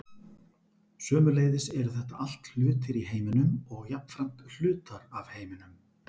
sömuleiðis eru þetta allt hlutir í heiminum og jafnframt hlutar af heiminum